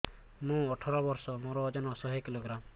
ମୁଁ ଅଠର ବର୍ଷ ମୋର ଓଜନ ଶହ କିଲୋଗ୍ରାମସ